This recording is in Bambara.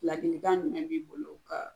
Ladilikan jumɛn b'i bolo kaa